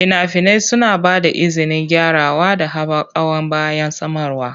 Fina-finai suna ba da izinin gyarawa da haɓakawa bayan samarwa.